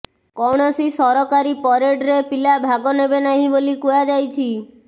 କୌଣସି ସରକାରୀ ପରେଡ୍ରେ ପିଲା ଭାଗ ନେବେ ନାହିଁ ବୋଲି କୁହାଯାଇଛି